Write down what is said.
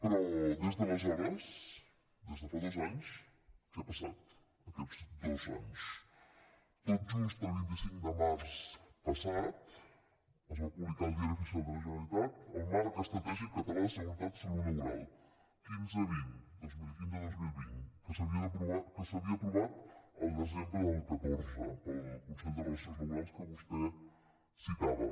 però des d’aleshores des de fa dos anys què ha passat aquests dos anys tot just el vint cinc de març passat es va publicar al diari oficial de la generalitatel marc estratègic català de seguretat i salut laboral quinzevint dos mil quinzedos mil vint que s’havia aprovat al desembre del catorze pel consell de relacions laborals que vostè citava